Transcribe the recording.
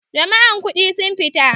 Jami'an kudi sun fita.